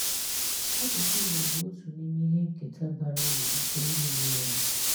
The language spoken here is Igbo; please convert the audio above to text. Àsụ̀sụ̀ Ìgbò bụ̀ otù n’imè ihè nkétà bàrà ùrù nkè ndị́ Ìgbò nwerè.